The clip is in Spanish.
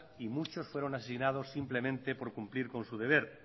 y muchos fueron asesinados simplemente por cumplir con su deber